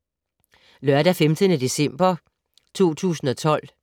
Lørdag d. 15. december 2012